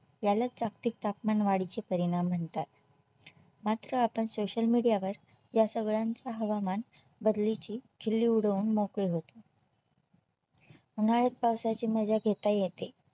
याला जागतिक तापमानवाढीचे परिणाम म्हणतात मात्र आपण Social media वर या सगळ्यांचा हवामान बदलीची खिल्ली उडवून मोकळे होतो उन्हाळ्यात पावसाळ्याची मजा घेता येते